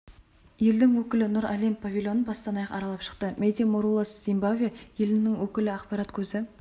елдің өкілі нұр әлем павильонын бастан аяқ аралап шықты мэди мурулас зимбабве елінің өкілі ақпарат көзі